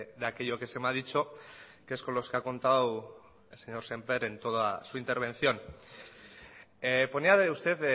de aquello que se me ha dicho que es con los que ha contado el señor sémper en toda su intervención ponía usted